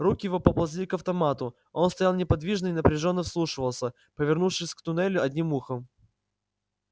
руки его поползли к автомату он стоял неподвижно и напряжённо вслушивался повернувшись к туннелю одним ухом